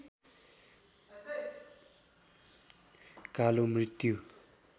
कालो मृत्यु